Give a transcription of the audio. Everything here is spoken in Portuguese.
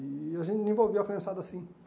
E a gente envolveu a criançada assim.